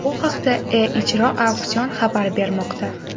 Bu haqda E-ijro auksion xabar bermoqda.